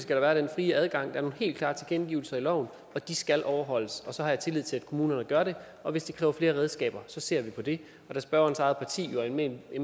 der være den frie adgang der er nogle helt klare tilkendegivelser i loven og de skal overholdes og så har jeg tillid til at kommunerne gør det og hvis det kræver flere redskaber ser vi på det og da spørgerens eget parti jo er med i